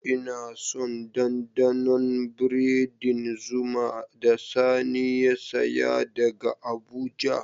Ina son dandanon biredin zuma da Sani ya saya daga abuja.